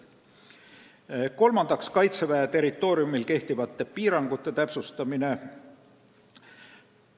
Kolmandaks, Kaitseväe territooriumil kehtivate piirangute täpsustamine.